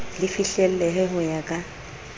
le fihlellehe ho ya ka